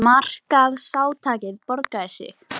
Markaðsátakið borgaði sig